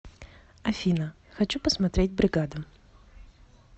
афина хочу посмотреть бригаду